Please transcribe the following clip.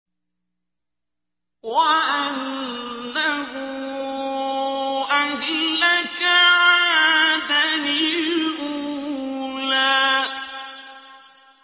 وَأَنَّهُ أَهْلَكَ عَادًا الْأُولَىٰ